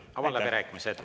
Avan läbirääkimised.